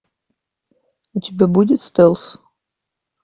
у тебя будет стелс